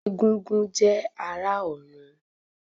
Egúngún jẹ́ ará ọ̀run